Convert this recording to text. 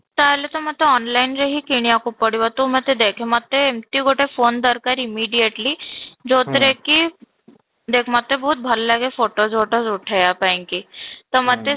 ତାହେଲେ ତ ମୋତେ online ରେ ହିଁ କିଣି ବାକୁ ପଡିବ, ତୁ ମୋତେ ଦେଖେ ମୋତେ ଏମିତି ଗୋଟେ phone ଦରକାର immediately ଯୋଉଥିରେ କି ଦେଖ ମୋତେ ବହୁତ ଭଲ ଲାଗେ photos ଉଠେଇବା ପାଇଁ କି ତ ମୋତେ